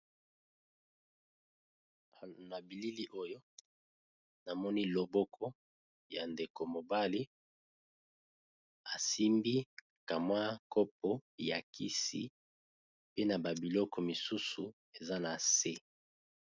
Na bilili oyo namoni loboko ya ndeko mobali asimbi ka mwa kopo ya kisi, pe na ba biloko misusu eza na se.